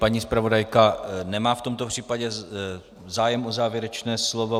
Paní zpravodajka nemá v tomto případě zájem o závěrečné slovo.